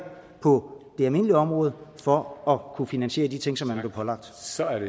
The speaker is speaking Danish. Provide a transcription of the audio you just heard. på det almindelige område for at kunne finansiere de ting som man pålagt